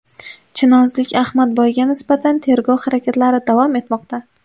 Chinozlik Ahmadboyga nisbatan tergov harakatlari davom etmoqda.